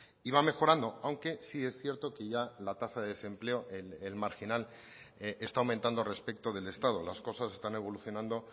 y va mejorando aunque sí es cierto que ya la tasa de desempleo el marginal está aumentando respecto del estado las cosas están evolucionando